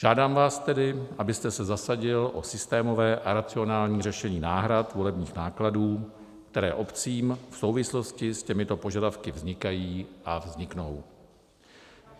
Žádám vás tedy, abyste se zasadil o systémové a racionální řešení náhrad volebních nákladů, které obcím v souvislosti s těmito požadavky vznikají a vzniknou.